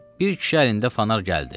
Bir kişi əlində fanar gəldi.